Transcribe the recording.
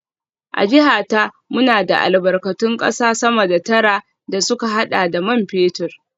A jiha ta, muna da albarkatun kasa sama da tara da suka hada da man fetur